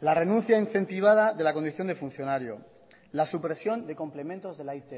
la renuncia incentivada de la condición de funcionario la supresión de complementos de la it